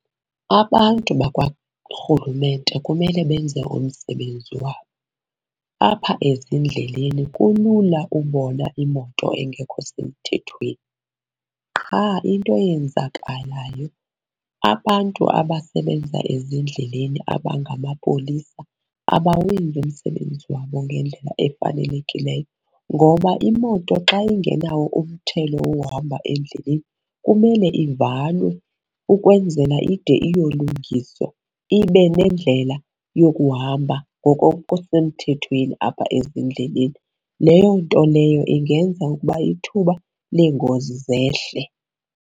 Abantu bakwaRhulumente kumele benze umsebenzi wabo. Apha ezindleleni kulula ubona imoto engekho semthethweni qha into eyenzakalayo, abantu abasebenza ezindleleni abangama polisa abawenzi umsebenzi wabo ngendlela efanelekileyo. Ngoba imoto xa ingenawo umthelo wohamba endleleni kumele ivalwe ukwenzela ide iyolungiswa, ibe nendlela yokuhamba ngoko kusemthethweni apha ezindleleni. Leyo nto leyo ingenza ukuba ithuba leengozi zehle.